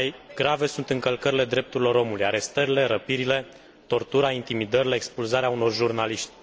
Cele mai grave sunt încălcările drepturilor omului, arestările, răpirile, tortura, intimidările, expulzarea unor jurnaliști.